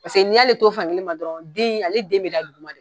Paseke n'i'ale to fankelen ma dɔrɔn den in ale den bɛ da dugumade.